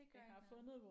Det gør ikke noget